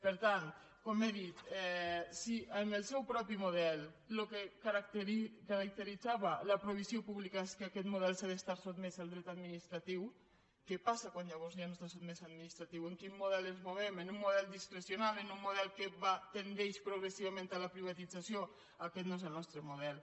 per tant com he dit si amb el seu propi model el que caracteritzava la provisió pública és que aquest model ha d’estar sotmès al dret administratiu què passa quan llavors ja no està sotmès a l’administratiu en quin mo del ens movem en un model discrecional en un model que tendeix progressivament a la privatització aquest no és el nostre model